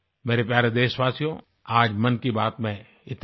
मेरे प्यारे देशवासियो आज मन की बात में इतना ही